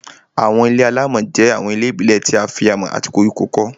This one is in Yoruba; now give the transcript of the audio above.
Àwọn ilé-alámọ̀ jẹ́ àwọn ilé ìbílẹ̀ tí a fi amọ̀ àti koríko kọ́